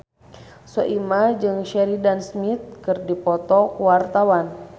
Soimah jeung Sheridan Smith keur dipoto ku wartawan